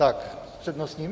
S přednostním?